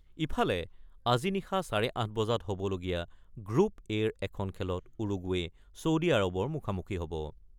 ইফালে, আজি নিশা চাৰে ৮ বজাত হ'বলগীয়া গ্ৰুপ-এৰ এখন খেলত উৰুগুৱে, ছৌদি আৰৱৰ মুখামুখি হ'ব।